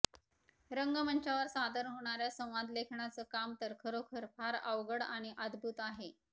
रंगमंचावर सादर होणाऱ्या संवादलेखनाचं काम तर खरोखर फार अवघड आणि अद्भुत आहे